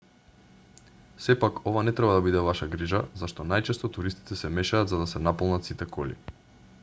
сепак ова не треба да биде ваша грижа зашто најчесто туристите се мешаат за да се наполнат сите коли